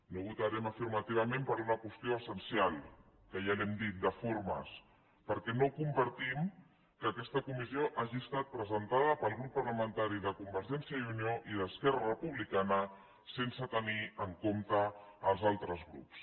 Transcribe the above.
no hi votarem afirmativament per una qüestió essen cial que ja l’hem dita de formes perquè no compartim que aquesta comissió hagi estat presentada pel grup parlamentari de convergència i unió i d’esquerra republicana sense tenir en compte els altres grups